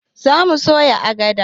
Zamu soya agadar